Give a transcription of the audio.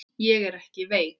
Ég er ekki veik.